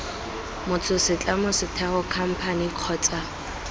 motho setlamo setheo khamphane kgotsa